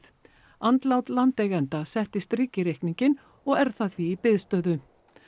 andlát landeiganda setti strik í reikninginn og er það því í biðstöðu